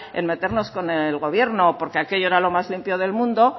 en meternos con el gobierno porque aquello era lo más limpio del mundo